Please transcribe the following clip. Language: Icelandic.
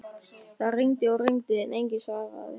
Það hringdi og hringdi en enginn svaraði.